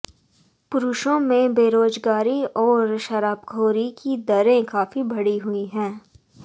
पुरुषों में बेरोज़गारी और शराबखोरी की दरें काफ़ी बढ़ी हुई हैं